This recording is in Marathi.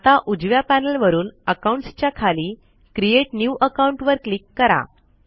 आता उजव्या पॅनल वरून अकाउंट्स च्या खाली क्रिएट न्यू अकाउंट वर क्लिक करा